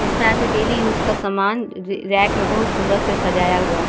जिसमें आदमी daily use का सामान र-रैक में बहुत सुन्दर से सजाया हुआ है।